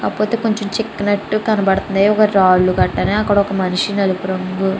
కాకపోతే కొంచెం చిక్కినట్టు కనబడుతుంది. రాళ్ళు గట్టన అక్కడ ఒక మనిషి నలుపు రంగు --